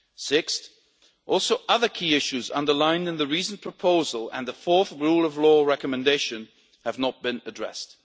EU. Sixth, also other key issues underlined in the recent proposal and the fourth rule of law recommendation have not been addressed.